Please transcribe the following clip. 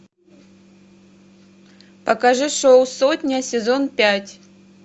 покажи шоу сотня сезон пять